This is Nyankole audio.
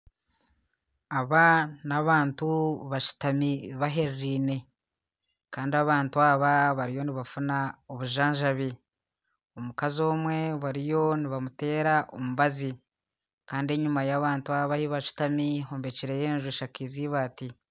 Aba n'abantu bashutami bahererine kandi abantu aba bariyo nibafuuna obujanjabi, omukazi omwe bariyo nibamuteera omubazi kandi enyuma y'abantu aba ahubashutami hombekireyo enju eshakize eibaati.